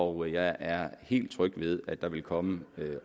og jeg er helt tryg ved at der vil komme en